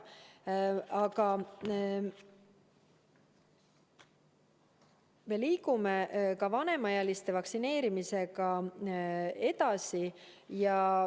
Aga me liigume ka vanemaealiste vaktsineerimisega edasi.